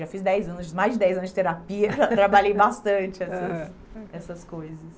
Já fiz dez anos mais de dez anos de terapia, trabalhei bastante, aham, essas coisas.